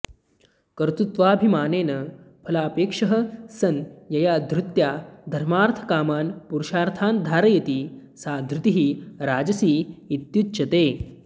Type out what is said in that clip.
कर्तृत्वाभिमानेन फलापेक्षः सन् यया धृत्या धर्मार्थकामान् पुरुषार्थान् धारयति सा धृतिः राजसी इत्युच्यते